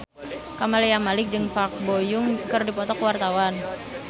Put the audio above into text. Camelia Malik jeung Park Bo Yung keur dipoto ku wartawan